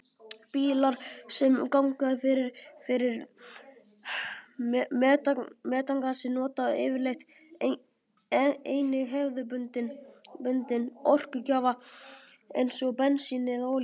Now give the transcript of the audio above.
Bílar sem ganga fyrir metangasi nota yfirleitt einnig hefðbundinn orkugjafa eins og bensín eða olíu.